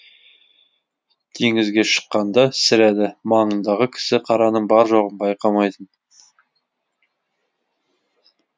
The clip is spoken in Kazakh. теңізге шыққанда сірә да маңындағы кісі қараның бар жоғын байқамайтын